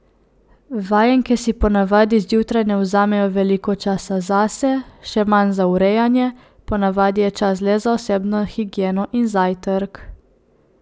Vajenke si ponavadi zjutraj ne vzamejo veliko časa zase, še manj za urejanje, ponavadi je čas le za osebno higieno in zajtrk.